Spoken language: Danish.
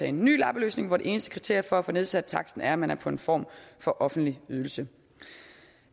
en ny lappeløsning hvor det eneste kriterie for at få nedsat taksten er at man er på en form for offentlig ydelse